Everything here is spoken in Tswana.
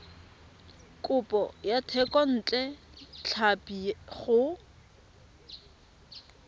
kopo ya thekontle tlhapi go